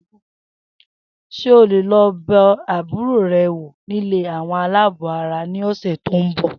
S̩e o óò lo̩ be̩ àbúrò re̩ wò nílé àwo̩n aláàbò ara ní òsè̩ tó ń bò̩?